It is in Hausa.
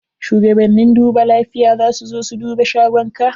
Shugabannin duba lafiya za su zo su duba shagonka.